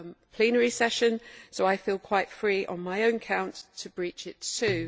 plenary session, so I feel quite free on my own account to breach it too.